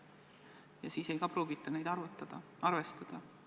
Ja ka siis ei pruugita neid arvestada.